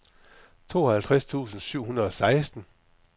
tooghalvtreds tusind syv hundrede og seksten